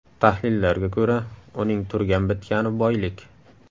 Tahlillarga ko‘ra, uning turgan-bitgani boylik.